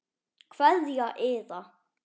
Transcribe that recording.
Kveðja Iða.